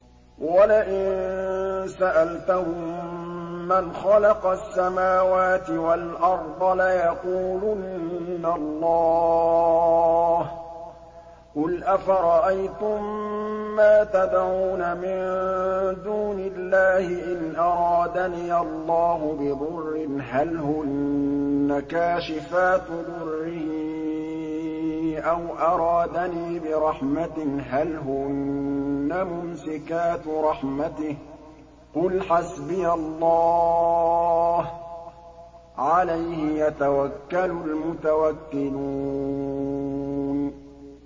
وَلَئِن سَأَلْتَهُم مَّنْ خَلَقَ السَّمَاوَاتِ وَالْأَرْضَ لَيَقُولُنَّ اللَّهُ ۚ قُلْ أَفَرَأَيْتُم مَّا تَدْعُونَ مِن دُونِ اللَّهِ إِنْ أَرَادَنِيَ اللَّهُ بِضُرٍّ هَلْ هُنَّ كَاشِفَاتُ ضُرِّهِ أَوْ أَرَادَنِي بِرَحْمَةٍ هَلْ هُنَّ مُمْسِكَاتُ رَحْمَتِهِ ۚ قُلْ حَسْبِيَ اللَّهُ ۖ عَلَيْهِ يَتَوَكَّلُ الْمُتَوَكِّلُونَ